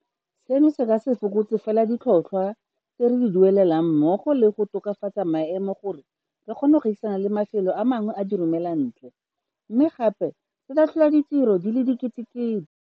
Seno se ka se fokotse fela ditlhotlhwa tse re di duelelang mmogo le go tokafatsa maemo gore re kgone go gaisana le mafelo a mangwe a diromelantle, mme gape se tla tlhola ditiro di le diketekete.